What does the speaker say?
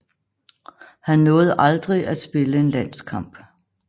Han nåede aldrig at spille en landskamp